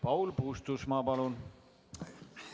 Paul Puustusmaa, palun!